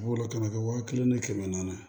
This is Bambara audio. B'o la kana kɛ waa kelen ni kɛmɛ naani